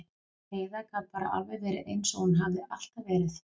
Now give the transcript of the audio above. Heiða gat bara alveg verið eins og hún hafði alltaf verið.